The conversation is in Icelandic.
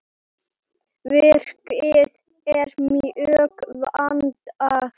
Verkið er mjög vandað.